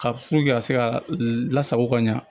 Ka ka se ka lasago ka ɲa